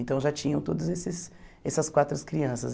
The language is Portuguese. Então já tinham todos esses essas quatro crianças.